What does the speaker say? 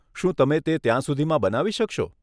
શું તમે તે ત્યાં સુધીમાં બનાવી શકશો?